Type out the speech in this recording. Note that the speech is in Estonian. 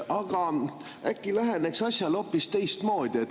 Aga äkki läheneks asjale hoopis teistmoodi?